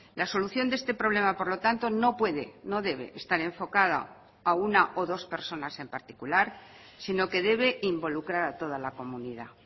la solución de este problema por lo tanto no puede no debe estar enfocada a una o dos personas en particular sino que debe involucrar a toda la comunidad